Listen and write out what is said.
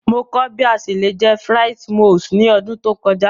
Mo kọ bi a ṣe le jẹ frites moules ni ọdun to kọja.